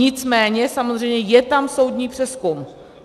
Nicméně samozřejmě je tam soudní přezkum.